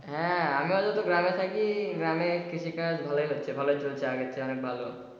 হ্যাঁ আমারও তো গ্রামে থাকি গ্রামে কৃষিকাজ ভালো হচ্ছে ভালোই চলছে আগের চেয়ে অনেক ভালো।